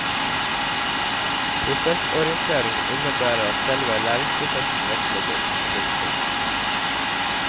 Prosessorientering innebærer at selve læringsprosessen vektlegges. punktum